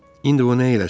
İndi o nə eləsin?